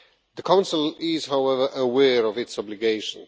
The Council is, however, aware of its obligation.